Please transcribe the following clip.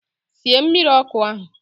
Sie mmiri ọkụ ahụ!